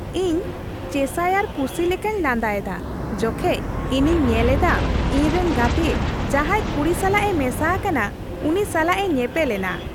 ᱤᱧ ᱪᱮᱥᱟᱭᱟᱨ ᱯᱩᱥᱤ ᱞᱮᱠᱟᱧ ᱞᱟᱸᱫᱟ ᱮᱫᱟ ᱡᱚᱠᱷᱮᱡ ᱤᱧᱤᱧ ᱧᱮᱞ ᱮᱫᱟ ᱤᱧ ᱨᱮᱱ ᱜᱟᱛᱮ ᱡᱟᱦᱟᱭ ᱠᱩᱲᱤ ᱥᱟᱞᱟᱜ ᱮ ᱢᱮᱥᱟ ᱟᱠᱟᱱᱟ ᱩᱱᱤ ᱥᱟᱞᱟᱜ ᱮ ᱧᱮᱯᱮᱞ ᱮᱱᱟ ᱾